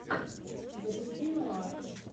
запусти нуар